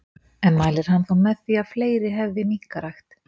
En mælir hann þá með því að fleiri hefði minkarækt?